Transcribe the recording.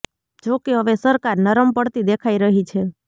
જોકે હવે સરકાર નરમ પડતી દેખાઇ રહી છે